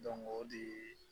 o de ye